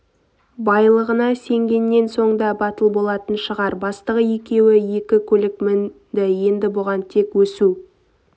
байлығына сенгеннен соң да батыл болатын шығар бастығы екеуі екі көлік мінді енді бұған тек өсу